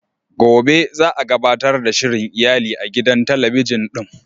Gobe za a gabatar da shirin iyali a gidan talabijin din.